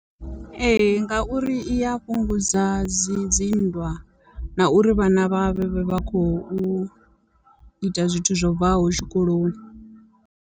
Ee ngauri i ya fhungudza dzi dzi nndwa na uri vhana vha vhe vha vha khou ita zwithu zwo bvaho tshikoloni.